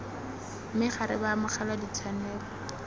me ga re baamogela ditshwanelo